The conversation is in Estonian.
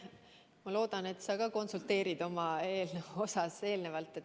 Ma loodan, et sa ka konsulteerid enne, kui oma eelnõu üle annad.